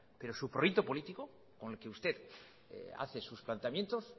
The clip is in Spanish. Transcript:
pero su proyecto político con el que usted hace sus planteamientos